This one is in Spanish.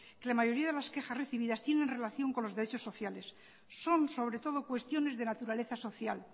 que la mayoría de las quejas recibidas tiene relación con los derechos sociales son sobre todo cuestiones de naturaleza social